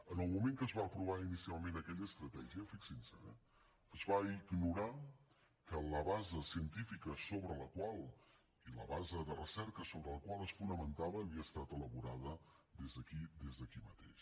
en el moment que es va aprovar inicialment aquella estratègia fixin se eh es va ignorar que la base científica i la base de recerca sobre la qual es fonamentava havia estat elaborada des d’aquí des d’aquí mateix